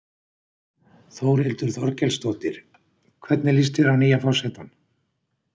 Þórhildur Þorkelsdóttir: Hvernig líst þér á nýja forsetann?